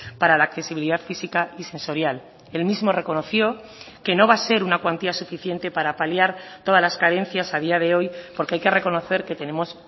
para la accesibilidad física y sensorial él mismo reconoció que no va a ser una cuantía suficiente para paliar todas las carencias a día de hoy porque hay que reconocer que tenemos